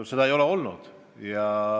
Seda ei ole olnud.